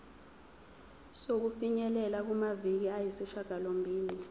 sokufinyelela kumaviki ayisishagalombili